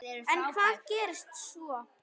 En hvað gerist svo?